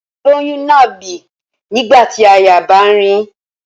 Olóyún náà bì nígbà tí àyà bá ń rìn ín